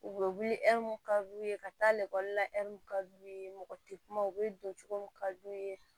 U bɛ wuli ka d'u ye ka taa la ka d'u ye mɔgɔ tɛ kuma u bɛ don cogo min kad'u ye